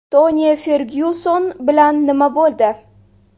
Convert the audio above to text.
Toni Fergyuson bilan nima bo‘ldi?